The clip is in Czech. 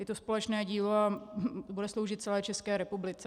Je to společné dílo a bude sloužit celé České republice.